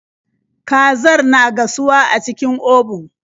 Kazar na gasuwa a cikin obun.